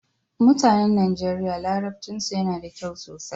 Mutanen Nigeria larabcinsu yana da kyau sosai.